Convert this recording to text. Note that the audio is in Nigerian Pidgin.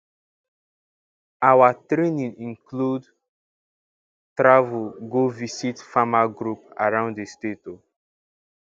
our training include travel um visit farmer group around the state um